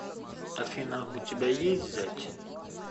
афина у тебя есть зять